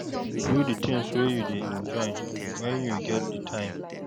Do the things wey you dey enjoy when you get di time